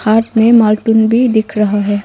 हाथ में मार्क भी दिख रहा है।